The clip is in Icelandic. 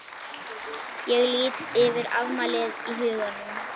Ég lít yfir afmælið í huganum.